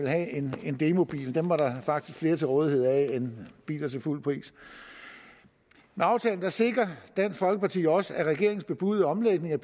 have en en demobil var der faktisk flere til rådighed end der biler til fuld pris med aftalen sikrer dansk folkeparti også at regeringens bebudede omlægning af